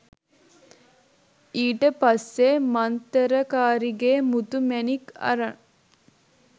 ඊට පස්සේ මන්තරකාරිගේ මුතු මැණික් අරන්